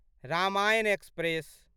Ramayana express